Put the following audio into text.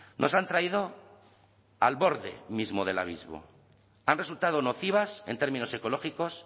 nos han traído al borde mismo del abismo han resultado nocivas en términos ecológicos